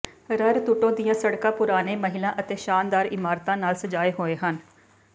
ਰੱਰਤੂਟੋ ਦੀਆਂ ਸੜਕਾਂ ਪੁਰਾਣੇ ਮਹਿਲਾਂ ਅਤੇ ਸ਼ਾਨਦਾਰ ਇਮਾਰਤਾਂ ਨਾਲ ਸਜਾਏ ਹੋਏ ਹਨ